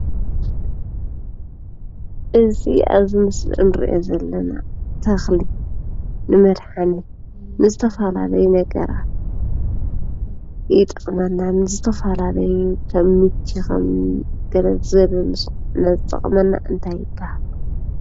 እዚ አብዚ ምስሊ እንሪኦ ዘለና ተከሊ ንመድሓኒት ንዝተፈለላለዩ ነገራት ይጠቅመና። ንዝተፈለላለዩ ከም ምቺ ከም ገለ ዝበለ ዝጠቅመና እንታይ ይባሃል?